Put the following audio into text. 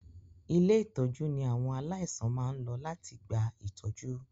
Ilé-ìtọ́jú ní àwọn aláìsàn máa ń lọ láti gba ìtọ́jú.